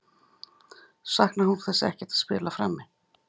Saknar hún þess ekkert að spila frammi?